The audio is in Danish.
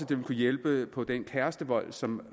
det vil kunne hjælpe på den kærestevold som